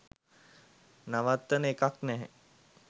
නවත්වන එකක් නැහැ